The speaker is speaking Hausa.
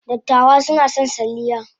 Dattawa suna son salliya.